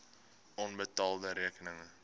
onbetaalde rekeninge